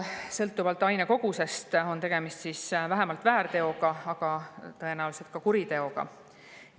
Sõltuvalt aine kogusest on tegemist vähemalt väärteoga, aga tõenäoliselt ka kuriteoga.